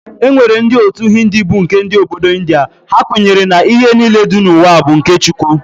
E nwere ndị otu Hindi bụ nke ndị Obodo India, ha kwenyere na ihe niile dị n'ụwa bụ nke Chukwu.